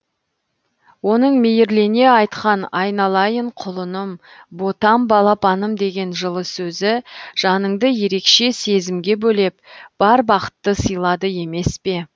оның мейірлене айтқан айналайын құлыным ботам балапаным деген жылы сөзі жаныңды ерекше сезімге бөлеп бар бақытты сыйлады емес пе